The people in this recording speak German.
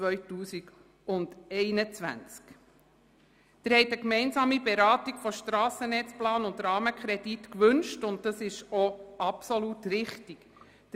Sie haben eine gemeinsame Beratung von Strassennetzplan und Rahmenkredit gewünscht, was absolut richtig ist.